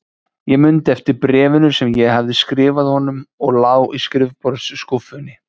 Ég mundi eftir bréfinu sem ég hafði skrifað honum og lá í skrifborðsskúffunni.